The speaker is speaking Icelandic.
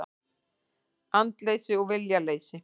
Andleysi og viljaleysi.